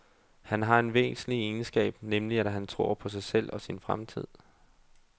Han har en væsentlig egenskab, nemlig at han tror på sig selv og sin fremtid.